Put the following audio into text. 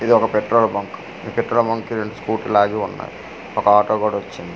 ఇది ఒక petrol bunk ఈ పెట్రోల్ బంక్ కీ రెండు స్కూటీలు ఆగి ఉన్నాయి ఒక ఆటో కూడా వచ్చింది .